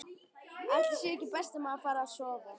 Ætli sé ekki best að maður fari að sofa.